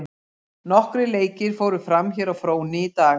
Nokkrir leiki fara fram hér á fróni í dag.